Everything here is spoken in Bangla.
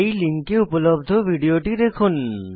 এই লিঙ্কে উপলব্ধ ভিডিওটি দেখুন